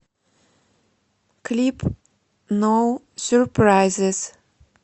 клип ноу сюрпрайзис